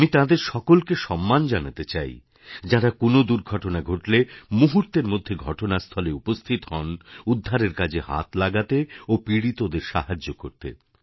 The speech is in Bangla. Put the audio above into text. আমি তাঁদের সকলকে সম্মান জানাতে চাই যাঁরা কোনও দুর্ঘটনা ঘটলে মুহূর্তের মধ্যে ঘটনাস্থলে উপস্থিত হন উদ্ধারকাজে হাত লাগাতে ও পীড়িতদের সাহায্য করতে